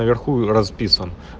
а я хуй расписан